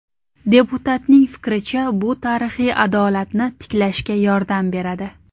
Deputatning fikricha, bu tarixiy adolatni tiklashga yordam beradi.